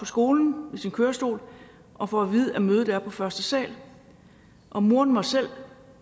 skolen i sin kørestol og får at vide at mødet er på første sal og moren må selv